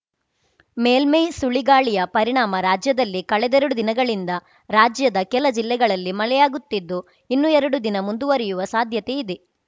ಮೇಲ್ಮೈ ಸುಳಿಗಾಳಿಯ ಪರಿಣಾಮ ರಾಜ್ಯದಲ್ಲಿ ಕಳೆದರೆಡು ದಿನಗಳಿಂದ ರಾಜ್ಯದ ಕೆಲ ಜಿಲ್ಲೆಗಳಲ್ಲಿ ಮಳೆಯಾಗುತ್ತಿದ್ದು ಇನ್ನು ಎರಡು ದಿನ ಮುಂದುವರಯುವ ಸಾಧ್ಯತೆ ಇದೆ